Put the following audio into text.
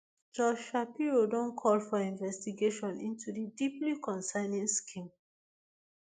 josh shapiro don call for investigation into di deeply concerning scheme